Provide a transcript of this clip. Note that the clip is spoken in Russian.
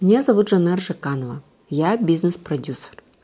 меня зовут жанна аржиканова я бизнес продюсер